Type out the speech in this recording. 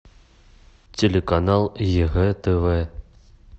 телеканал егэ тв